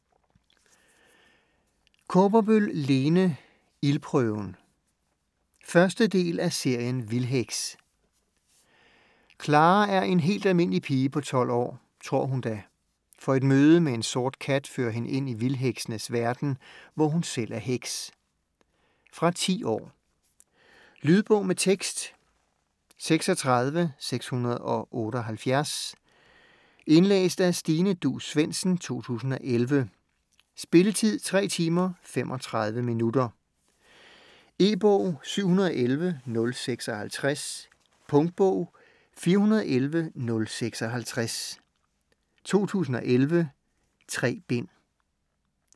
Kaaberbøl, Lene: Ildprøven 1. del af serien Vildheks. Clara er en helt almindelig pige på 12 år. Tror hun da. For et møde med en sort kat fører hende ind i vildheksenes verden, hvor hun selv er heks. Fra 10 år. Lydbog med tekst 36678 Indlæst af Stine Duus Svendsen, 2011. Spilletid: 3 timer, 35 minutter. E-bog 711056 Punktbog 411056 2011. 3 bind.